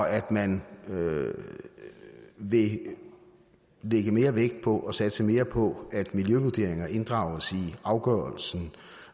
at man vil lægge mere vægt på og satse mere på at miljøvurderingerne inddrages i afgørelsen